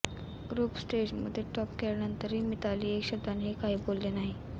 group स्टेजमध्ये top केल्यानंतरही मिताली एक शब्दानेही काही बोलली नाही